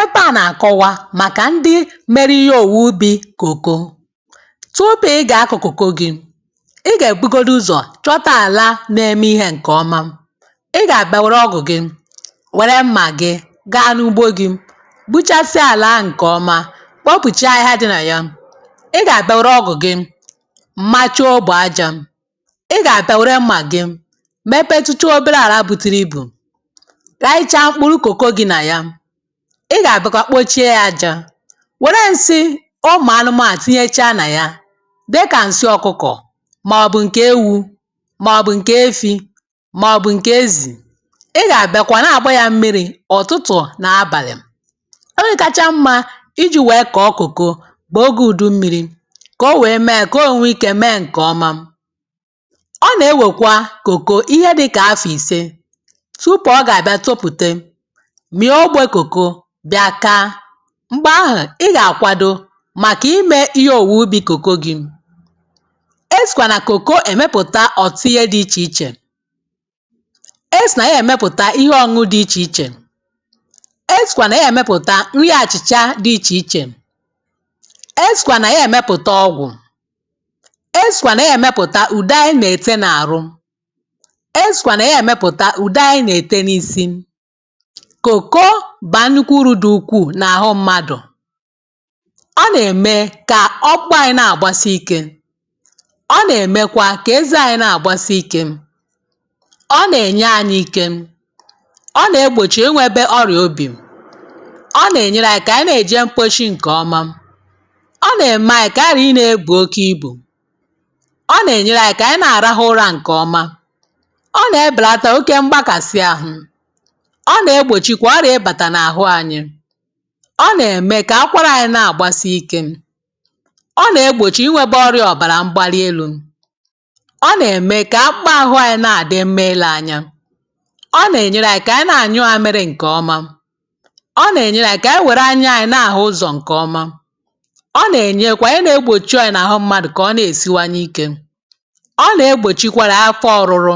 Ebe a na-akọwa maka ndị meri ihe ọ̀wụwe ụbi̇ kọ̀kọ. Tụpụ ị ga-akọ̀ kọ̀kọ gị, ị ga-ebụgọdụ ụzọ̀ chọta ala n’eme ihė nke ọma. ị ga-abịa were ọgụ̀ gị, were mma gị, gaa n’ụgbọ gị, gbụchasịa ala ahụ nke ọma, kpọpụchaa ahihia dị na ya. ị ga-abịa were ọgụ̀ gị machọ aja. ị ga-abịa were mma gị mepetụche ọbere ala bụtụrụ. Rayicha kọ̀ko gi na ya. ị ga-abịakwa kpọchie ya aja. Were nsi̇ ụmụ̀ anụmanụ̀ tinyechaa na ya. Dika nsị ọkụkọ̀ ma ọ̀bụ̀ nke ewụ ma ọ̀bụ̀ nke efi̇ ma ọ̀bụ̀ nke ezì ị ga-abịa kwa na-agba ya mmiri̇ ụ̀tụtụ̀ na abalị̀. Ọge kachaa mma iji̇ wee kọ̀ọ kọ̀kọ̀ bụ ọgė ụdụ mmi̇ri, ka ọ wee mee ka ọ nwee ikė mee nke ọma. Ọ na-ewekwa kọ̀kọ̀ ihe dịka afọ̀ ìse tụpụ ọ ga-abịa tọpụte mịọ ọgbe kọ̀kọ bịa kaa. Mgbe ahụ̀ ị ga-akwadọ maka imė ihe ọ̀wụụbi̇ kọ̀kọ gị. Esìkwa na kọ̀kọ emepụta ọ̀tụụ ihe dị iche iche. E sì na ya emepụta ihe ọ̇ñụ̇ dị iche iche. E sìkwa na ya emepụta ihe achị̀cha dị iche iche. E sìkwa na ya emepụta ọgwụ̀. E sìkwa na ya emepụta ụde anyị na-ete n’arụ. E sìkwa na ya emepụta ụde anyị na-ete n’isi. Kọ̀kọ ba nʼụkwụ ụrụ dị ụkwụụ na ahụ mmadụ̀. Ọ na ẹ̀mẹ ka ọkpụ anyi̇ na-agbasi ike. Ọ na ẹ̀mẹkwa ka eze anyi na-agbasi ike. Ọ na ẹ̀nyẹ anyị ike, ọ na egbọ̀chi enwẹbẹ ọrịa ọbì. Ọ na ẹ̀nyẹrẹ anyị ka anyị na-eje mkpọshi nke ọma. Ọ na ẹ̀mẹ anyị ka anyị ghari ịna ẹbụ ọke ibụ. Ọ na ẹ̀nyẹrẹ anyị ka anyị na-arahụ ụra nke ọma, ọ na ẹbẹlata ọke mgbakasị ahụ̇. Ọ na egbọchikwa oria ibata Na ahụ anyị. Ọ na-eme ka akwara anyi na-agbasi ikė. Ọ na-egbọ̀chi inwėba ọrịa ọ̀bara mgbali elu̇. Ọ na-eme ka akpaahụa anyi na-adị mma ile anya. Ọ na-enyere anyi ka anyi na-anyụ amịrị nkeọma. Ọ na-enyere anyi ka anyi were anya anyi na-ahụ ụzọ̀ nkeọma. Ọ na-enyekwa ihe na-egbọ̀chi ọrịa n’ahụ mmadụ̀ ka ọ na-esiwanye ike. Ọ na-egbọ̀chikwara afọ ọrụrụ.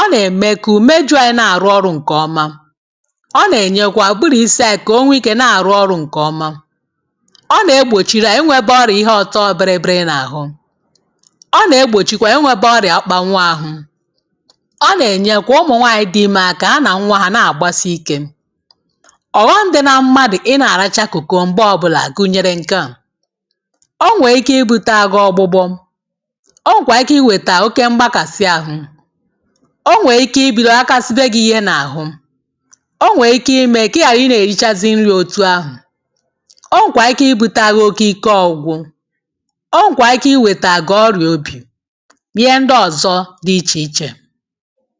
Ọ na-eme ka ụmejụ anyi na-arụ ọrụ̇ nkeọma. Ọ nenyekwa ụbụrụ isi̇ anyị ka ọ nwee ikė na-arụ ọrụ̇ nke ọma. Ọ negbọ̀chiri a inwėbė ọrị̀ ihe ọ̀tọ biri biri n’ahụ. Ọ na egbọ̀chikwa inwėbė ọrị̀a ọkpa nwụ̇ ahụ̇. Ọ nenyekwa ụmụ̀ nwaanyị̀ dị ime aka ha na nwa ha na-agbasị ikė. Ọ̀ghọṁ dị na mmadụ̀ ị na-aracha kọ̀kọ mgbe ọbụla gụ̇nyere nkea. Ọ nwe ike ịbu̇tė agụ ọgbụgbọ. Ọ nwekwa ike iweta ọke mgbakasị ahụ̇. Ọ nwe ike ibi̇dọ akasiba gị̇ ihe n’ahụ. Ọ nwe ike ime ka ighari na erichazi nrị ọtụ ahụ. Ọ nwekwa ike ibụte agụ oke ike ọgwụ gwụ. Ọ nwekwa ike iweta gụ ọrịa ọbi. Na ihe ndị ọzọ̇ dị iche iche.